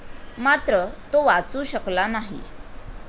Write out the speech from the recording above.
मात्र तो वाचू शकला नाही.